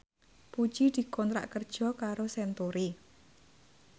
Puji dikontrak kerja karo Century